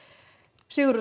Sigurður